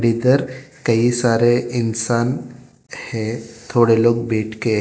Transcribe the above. इधर कई सारे इंसान है थोड़े लोग बैठ के है।